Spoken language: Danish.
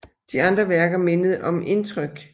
De andre værker mindede om Indtryk